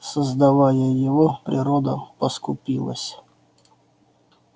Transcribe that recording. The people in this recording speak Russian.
создавая его природа поскупилась